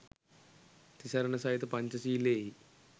තිසරණ සහිත පංචශීලයෙහි